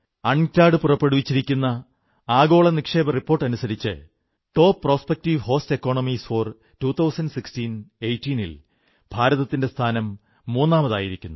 ഡചഇഠഅഉ പുറപ്പെടുവിച്ചിരിക്കുന്ന ആഗോള നിക്ഷേപ റിപ്പോർട്ടനുസരിച്ച് top prospective host economies for 201618 ൽ ഭാരതത്തിന്റെ സ്ഥാനം മൂന്നാമതായിരിക്കുന്നു